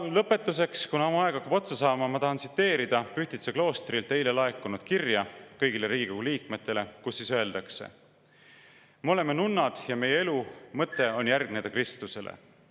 Lõpetuseks, mu aeg hakkab otsa saama, ma tahan tsiteerida Pühtitsa kloostrilt eile laekunud kirja kõigile Riigikogu liikmetele, kus on öeldud: "Me oleme nunnad ja meie elu mõte on järgneda Kristusele.